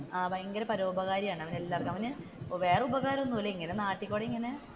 ആഹ് ഭയങ്കരപരോപകാരിയാണ് അവൻ എല്ലാവര്ക്കും അവൻ വേറെ ഉപകാരം ഒന്നുമില്ല ഇങ്ങനെ നാട്ടിൽ കൂടി ഇങ്ങനെ,